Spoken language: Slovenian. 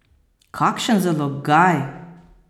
Kakšen zalogaj!